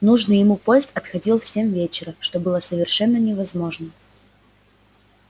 нужный ему поезд отходил в семь вечера что было совершенно невозможно